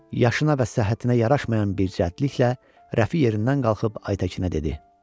Yaşına və səhhətinə yaraşmayan bir cəhliklə Rəfi yerindən qalxıb Aytəkinə dedi: